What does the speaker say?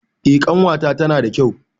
Eh ƙanwata tana da kyau.